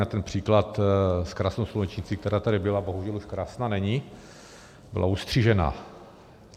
Na ten příklad s krásnou slunečnicí, která tady byla, bohužel už krásná není, byla ustřižena.